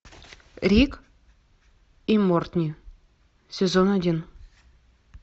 рик и морти сезон один